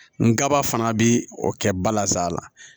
N kaba fana bɛ o kɛ bala sala